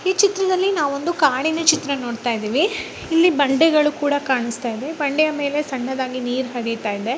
ಈ ಚಿತ್ರದಲ್ಲಿ ನಾವು ಒಂದು ಕಾಡಿನ ಚಿತ್ರ ನೋಡ್ತಾ ಇದ್ದೀವಿ ಇಲ್ಲಿ ಬಂಡೆಗಳು ಕೂಡ ಕಾಣಿಸ್ತಾ ಇದೆ ಬಂಡೆಯ ಮೇಲೆ ಸಣ್ಣದಾಗಿ ನೀರು ಹರಿತಾ ಇದೆ.